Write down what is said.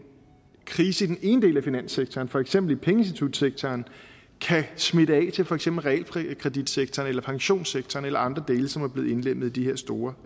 krise i den ene del af finanssektoren for eksempel i pengeinstitutsektoren kan smitte af til for eksempel realkreditsektoren eller pensionssektoren eller andre dele som er blevet indlemmet i de her store